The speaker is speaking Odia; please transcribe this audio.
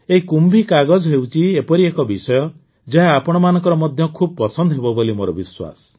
ଏହି କୁମ୍ଭୀ କାଗଜ ହେଉଛି ଏପରି ଏକ ବିଷୟ ଯାହା ଆପଣମାନଙ୍କର ମଧ୍ୟ ଖୁବ୍ ପସନ୍ଦ ହେବ ବୋଲି ମୋର ବିଶ୍ୱାସ